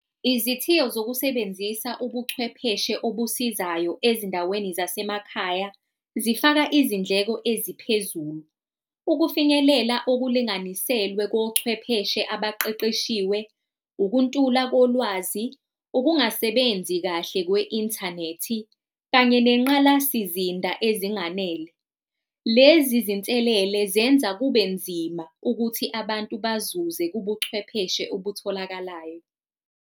Izithiyo zokusebenzisa ubuchwepheshe obusizayo ezindaweni zasemakhaya zifaka izindleko eziphezulu, ukufinyelela ukulunganiselwe kochwepheshe abaqeqeshiwe, ukuntula kolwazi, ukungasebenzi kahle kwe-inthanethi, kanye nengqalasizinda ezinganele. Lezi zinselele zenza kube nzima ukuthi abantu bazuze kubuchwepheshe okutholakalayo.